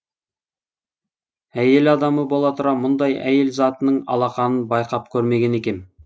әйел адамы бола тұра мұндай айел затының алақанын байқап көрмеген екем